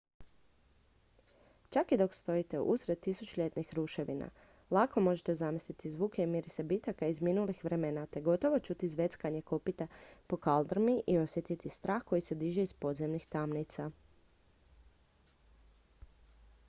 čak i dok stojite usred tisućljetnih ruševina lako možete zamisliti zvuke i mirise bitaka iz minulih vremena te gotovo čuti zveckanje kopita po kaldrmi i osjetiti strah koji se diže iz podzemnih tamnica